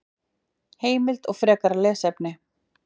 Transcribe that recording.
Heimild og frekara lesefni: